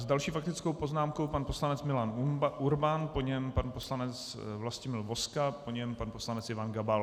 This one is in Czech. S další faktickou poznámkou pan poslanec Milan Urban, po něm pan poslanec Vlastimil Vozka, po něm pan poslanec Ivan Gabal.